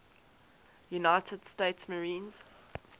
united states marines